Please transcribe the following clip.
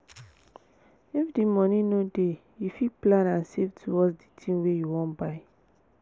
if di moni no dey you fit plan and save towards the tin wey you wan buy